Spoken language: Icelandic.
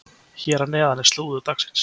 Hér að neðan er slúður dagsins.